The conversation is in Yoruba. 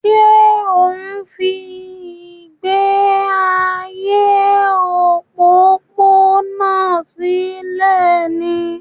Ṣé ò ń fi ìgbé ayé òpópónà sílẹ̀ ni?